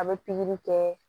A bɛ pikiri kɛ